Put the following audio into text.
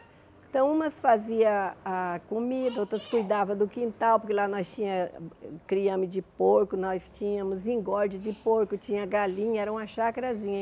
Então umas fazia a comida, outras cuidava do quintal, porque lá nós tinhamos criamos de porco, nós tínhamos engorde de porco, tinha galinha, era uma chacrazinha.